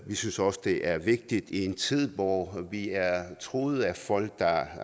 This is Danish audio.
vi synes også det er vigtigt i en tid hvor vi er truet af folk der